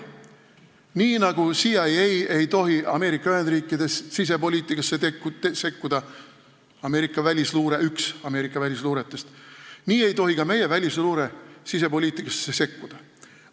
Nii nagu CIA, Ameerika välisluure, ei tohi Ameerika Ühendriikides sisepoliitikasse sekkuda, nii ei tohi ka meie välisluure sisepoliitikasse sekkuda.